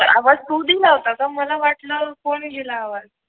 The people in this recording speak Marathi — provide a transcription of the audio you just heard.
आवाज तू दिल होत का मला वाटलं कोण दिल आवाज